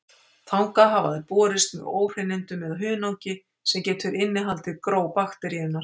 Þangað hafa þær borist með óhreinindum eða hunangi, sem getur innihaldið gró bakteríunnar.